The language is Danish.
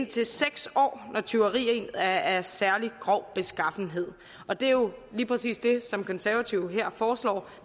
til seks år når tyveriet er af særlig grov beskaffenhed og det er jo lige præcis det som konservative her foreslår